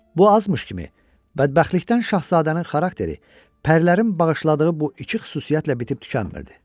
Bu azmış kimi, bədbəxtlikdən Şahzadənin xarakteri pərilərin bağışladığı bu iki xüsusiyyətlə bitib tükənmirdi.